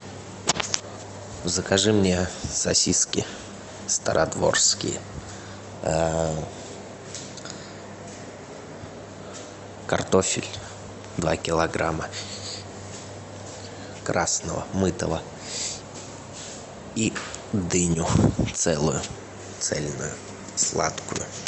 закажи мне сосиски стародворские картофель два килограмма красного мытого и дыню целую цельную сладкую